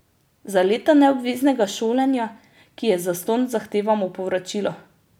Za leta neobveznega šolanja, ki je zastonj, zahtevamo povračilo.